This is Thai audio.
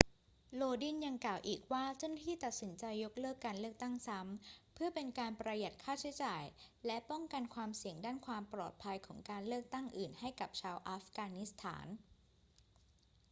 lodin ยังกล่าวอีกว่าเจ้าหน้าที่ตัดสินใจยกเลิกการเลือกตั้งซ้ำเพื่อเป็นการประหยัดค่าใช้จ่ายและป้องกันความเสี่ยงด้านความปลอดภัยของการเลือกตั้งอื่นให้กับชาวอัฟกานิสถาน